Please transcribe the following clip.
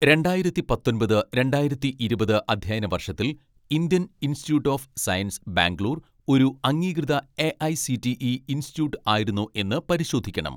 രണ്ടായിരത്തി പത്തൊൻപത് രണ്ടായിരത്തി ഇരുപത് അധ്യയന വർഷത്തിൽ Indian Institute of Science Bangalore ഒരു അംഗീകൃത എ.ഐ.സി.ടി.ഇ ഇൻസ്റ്റിറ്റ്യൂട്ട് ആയിരുന്നോ എന്ന് പരിശോധിക്കണം